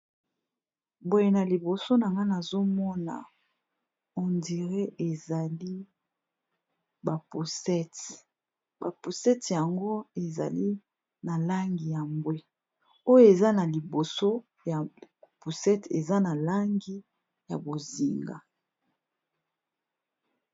Boye na liboso na ngana azomona hondire ezali ba pusete bapusete yango ezali na langi ya mbwe, oyo eza na liboso ya pusete eza na langi ya bozinga.